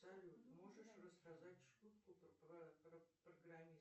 салют можешь рассказать шутку про программиста